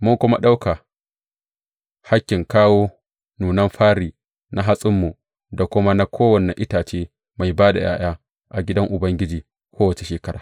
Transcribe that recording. Mun kuma ɗauka hakkin kawo nunan fari na hatsinmu da kuma na kowane itace mai ba da ’ya’ya a gidan Ubangiji kowace shekara.